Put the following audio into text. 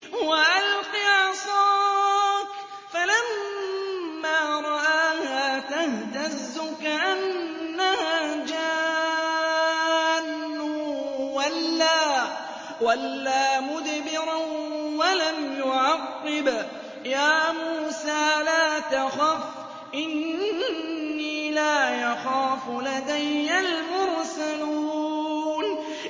وَأَلْقِ عَصَاكَ ۚ فَلَمَّا رَآهَا تَهْتَزُّ كَأَنَّهَا جَانٌّ وَلَّىٰ مُدْبِرًا وَلَمْ يُعَقِّبْ ۚ يَا مُوسَىٰ لَا تَخَفْ إِنِّي لَا يَخَافُ لَدَيَّ الْمُرْسَلُونَ